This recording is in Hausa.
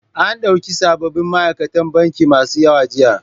An ɗauki sabobin ma'aikatan banki masu yawa jiya.